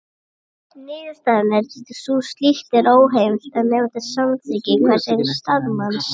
Niðurstaðan er því sú að slíkt er óheimilt nema með samþykki hvers og eins starfsmanns.